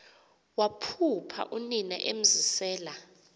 waphupha unina emzisela